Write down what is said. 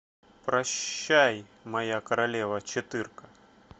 прощай моя королева четырка